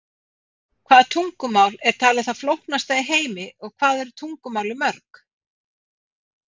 Hvaða tungumál er talið það flóknasta í heimi og hvað eru tungumálin mörg?